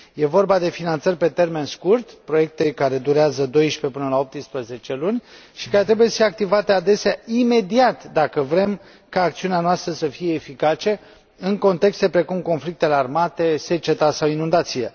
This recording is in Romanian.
Este vorba de finanțări pe termen scurt, proiecte care durează de la 12 până la 18 luni și care trebuie să fie activate adesea imediat, dacă vrem ca acțiunea noastră să fie eficace în contexte precum conflictele armate, seceta sau inundațiile.